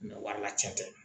o b'a la tiɲɛ tɛ